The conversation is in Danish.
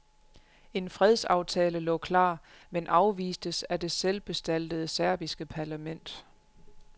En fredsaftale lå klar, men afvistes af det selvbestaltede serbiske parlament.